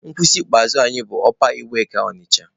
Nkwụsị ikpeazụ anyị bụ n'ọpa iweka Ọnịcha.